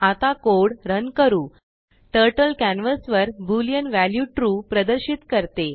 आता code run करू टर्टलकॅनवासवरBoolean वॅल्यू trueप्रदर्शित करते